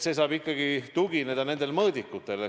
See saab tugineda nendele mõõdikutele.